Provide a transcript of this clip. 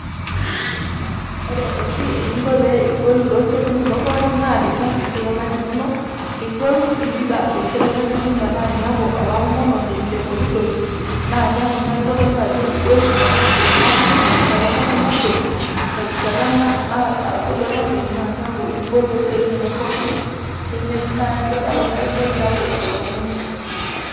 ore oshi eninko pee igolu toosiatin inonok pookin naa tenias esiai oonkaik inonok nigol nibik aas esiai oonkaik inonok metaa miaku olaomononi le poki toki naa keeku naa kitodolu ajo igol toonkatitin pookin terishata pookin nagol o terishata naa nagolu olameyu naa keeku igol toosiatin inonok pookin naa keaku naa kegol iyaku oloomonisho.